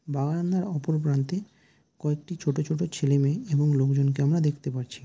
বারান্দার অপর প্রান্তে কয়েকটি ছোটো ছোটো ছেলে মেয়ে এবং লোকজন কে আমরা দেখতে পারছি।